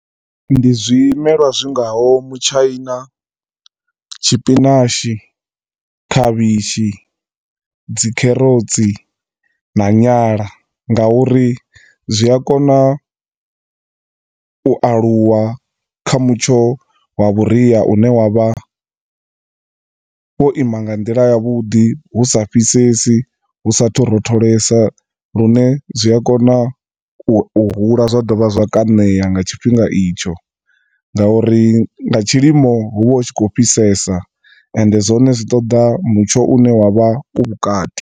Ndi zwimelwa zwi nga ho mutshaina, tshipinashi, khavhishi, dzikherotsi, na nyala, ngauri zwi a kona u aluwa kha mutsho wa vhuria u ne wa vha wo ima nga ndila ya vhudi, hu sa fhisesi, hu sa to rotholesa lune zwi a kona u hula zwa dovha zwa kona u kaṋeya nga tshifhinga i tsho, ngauri nga tshilimo hu vha hu tshi khou fhisesa ende zwone zwi toḓa mutsho u ne wa vha u vhukati.